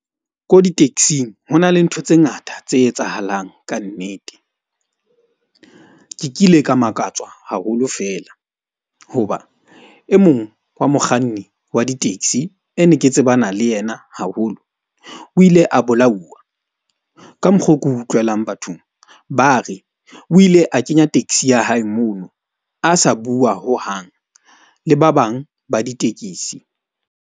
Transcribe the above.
Ko di-taxi-ng hona le ntho tse ngata tse etsahalang kannete. Ke kile ka makatsa haholo fela hoba e mong wa mokganni wa di-taxi e ne ke tsebana le yena haholo. O ile a bolauwa ka mokgo ke utlwelang bathong, ba re o ile a kenya taxi ya hae, mono a sa bua hohang le ba bang ba ditekesi.